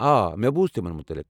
آ، مےٚ بوٗز تمن متعلق۔